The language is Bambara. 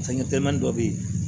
Fɛnkɛ dɔ bɛ yen